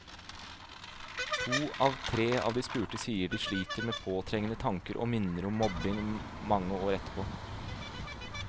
To av tre av de spurte sier de sliter med påtrengende tanker og minner om mobbingen mange år etterpå.